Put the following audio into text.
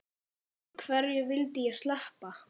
En hverju vildi ég sleppa?